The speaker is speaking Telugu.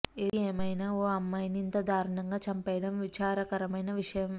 ఏది ఏమైనా ఇలా ఓ అమ్మాయిని ఇంత దారుణంగా చంపేయడం విచారకరమైన విషయం